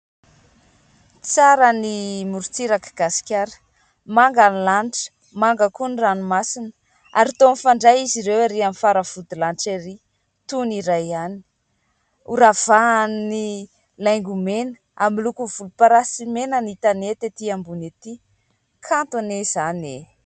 Tsara ny morontsiraka gasikara manga ny lanitra. Manga koa ny ranomasina ary toa mifandray izy ireo ery amin'ny faravodilanitra ery toy ny iray ihany. Horavahan'ny laingomena amin'ny loko volomparasy mena ny tanety etỳ ambony ety. Kanto anie izany e !